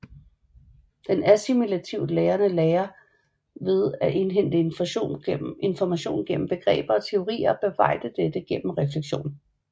Den assimilativt lærende lærer ved at indhente information gennem begreber og teorier og bearbejde dette gennem refleksion